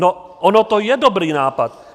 No on to je dobrý nápad.